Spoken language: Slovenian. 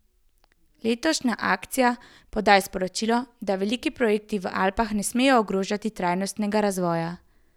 Letošnja akcija podaja sporočilo, da veliki projekti v Alpah ne smejo ogrožati trajnostnega razvoja.